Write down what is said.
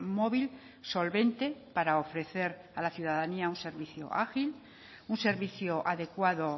móvil solvente para ofrecer a la ciudadanía un servicio ágil un servicio adecuado